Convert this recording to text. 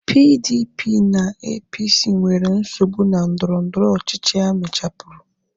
PDP na APC nwere nsogbu na ndọrọndọrọ ọchịchịa emechapuru